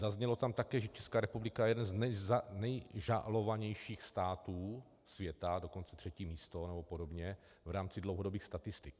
Zaznělo tam také, že Česká republika je jeden z nejžalovanějších států světa, dokonce třetí místo nebo podobně v rámci dlouhodobých statistik.